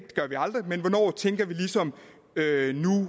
gør vi aldrig men hvornår tænker vi ligesom